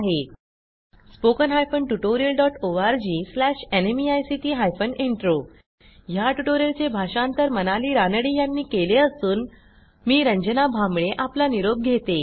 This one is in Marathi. spoken hyphen tutorial dot O R G slash NMEICT hyphen intro ह्या ट्युटोरियलचे भाषांतर मनाली रानडे यांनी केले असून आवाज रंजना भांबळे यांनी दिलेला आहे